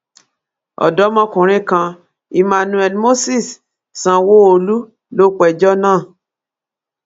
ọdọmọkùnrin kan emmanuel moses sanwóolu ló pẹjọ́ náà